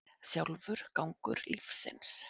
Sjálfur gangur lífsins.